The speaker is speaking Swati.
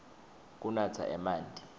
kunatsa emanti